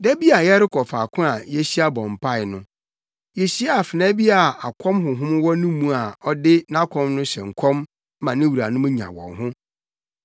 Da bi a yɛrekɔ faako a yehyia bɔ mpae no, yehyiaa afenaa bi a akɔm honhom wɔ ne mu a ɔde nʼakɔm no hyɛ nkɔm ma ne wuranom nya wɔn ho.